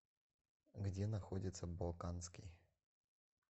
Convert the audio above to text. где находится балканский